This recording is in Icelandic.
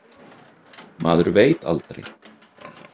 Maður veit aldrei.